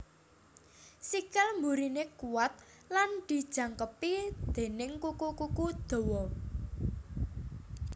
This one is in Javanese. Sikil mburiné kuwat lan dijangkepi déning kuku kuku dawa